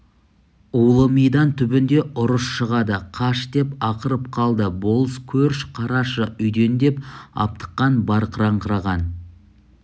улы мидан түбінде ұрыс шығады қаш деп ақырып қалды болыс көрш қараша үйден деп аптыққан барқыраңқыраған